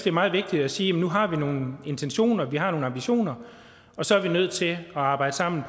er meget vigtigt at sige at nu har vi nogle intentioner vi har nogle ambitioner og så er vi nødt til at arbejde sammen